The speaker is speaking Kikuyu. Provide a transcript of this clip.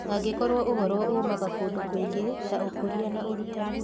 Angĩkorũo ũhoro uumaga kũndũ kũingĩ ta Ũkũria na Ũrutani